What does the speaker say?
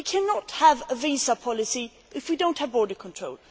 We cannot have a visa policy if we do not have border control.